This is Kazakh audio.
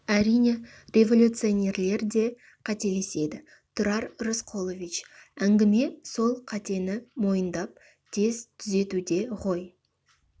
әрине революционерлер де қателеседі тұрар рысқұлович әңгіме сол қатені мойындап тез түзетуде ғой